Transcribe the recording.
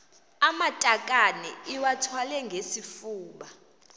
amatakane iwathwale ngesifuba